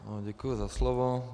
Děkuji za slovo.